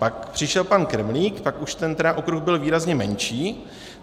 Pak přišel pan Kremlík, pak už ten okruh byl výrazně menší.